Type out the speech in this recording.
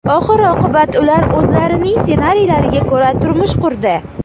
Oxir-oqibat ular o‘zlarining ssenariylariga ko‘ra turmush qurdi.